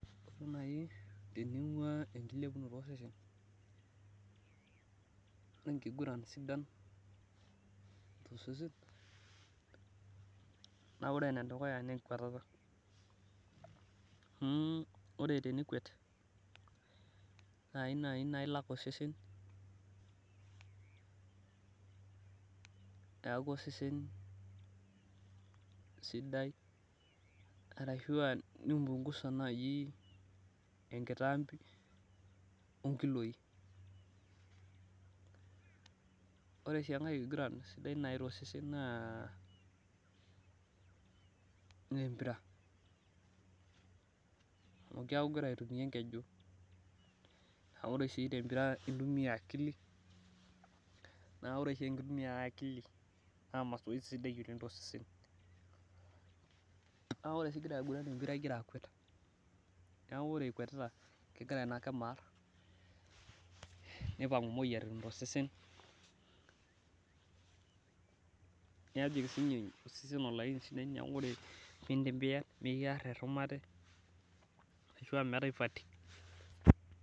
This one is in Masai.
Kajo naaji teningua enkilepunoto osesen, enkiguran sidai, tosesen, naa ore ene dukuya naa enkwatata. ore tenikwet, naaji naa ilak osesen, peeku osesen sidai, arshu aa nimpingusa naaji enkitampo onkiloi. ore sii enkae kiguran sidai naaji tosesen naa, empira. amu keeku igira aitumia enkeju ore sii tempira, intumia akili. naa ore oshi enkitumiatae akili na masoesi sidai oleng tosesen. ore sii igira aiguran empira igira akwet naa ore ikwetita, kegira Ina kima aar. nipangu moyiaritin tosesen. nejing osesen olaini sidai.